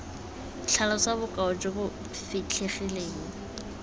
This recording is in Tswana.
tlhalosa bokao jo bo fitlhegileng